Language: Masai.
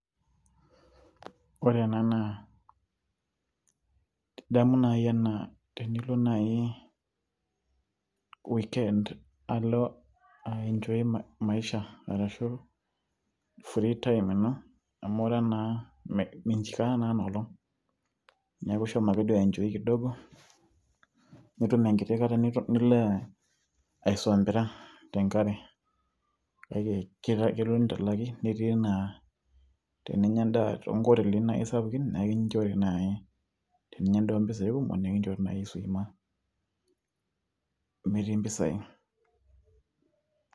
Ore ena naa, idamu nai enaa tenilo nai weekend ,aienchoi maisha ashu free time ino, amu minchiraa naa inoolong'. Neeku ishomo ake duo aienchoi kidogo, nitum enkiti kata nilo aisombira tenkare. Kake kelo nitalaki, netii enaa teninya endaa tonkotelini nai sapukin, na ekinchori nai, teninya endaa ompisai kumok, na ekinchori swima metii mpisai.